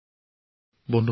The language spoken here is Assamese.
প্ৰেম জী অশেষ ধন্যবাদ